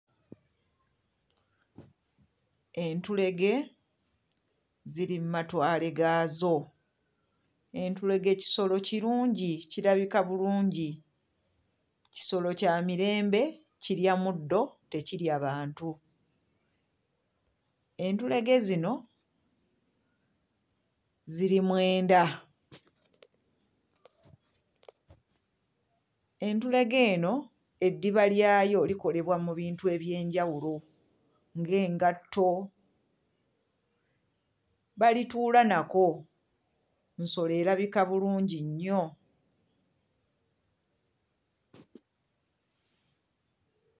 Entulege ziri mmatwale gaazo. Entulege kisolo kirungi, kirabika bulungi. Kisolo kya mirembe kirya muddo tekirya bantu. Entulege zino ziri mwenda. Entulege eno eddiba lyayo likolebwa mu bintu eby'enjawulo nga engatto, balituula nako. Nsolo erabika bulungi nnyo.